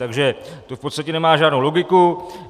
Takže to v podstatě nemá žádnou logiku.